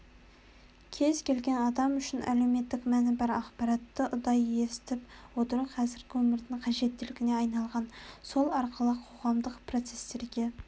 кез-келген адам үшін әлеуметтік мәні бар ақпаратты ұдайы естіп отыру қазіргі өмірдің қажеттілігіне айналған сол арқылы қоғамдық процестерге